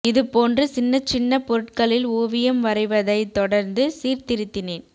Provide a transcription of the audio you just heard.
இது போன்று சின்னச் சின்னப் பொருட்களில் ஓவியம் வரைவதைத் தொடர்ந்து சீர்திருத்தினேன்